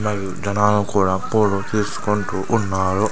మరియు జనాలు కుడా పోటు తిసుకుంటూ ఉన్నారు.